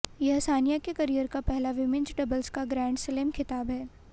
यह सानिया के करियर का पहला विमिंज डबल्स का ग्रैंडस्लैम खिताब है